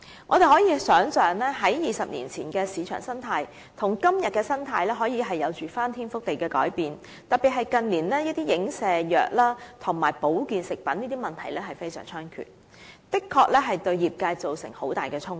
我們可以想象 ，20 年前的市場生態與今天的市場生態可以有翻天覆地的改變，特別是近年的一些影射藥和保健食品等的問題非常猖獗，的確對業界造成很大衝擊。